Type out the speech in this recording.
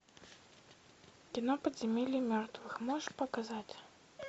кино подземелье мертвых можешь показать